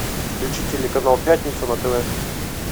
включи телеканал пятница на тв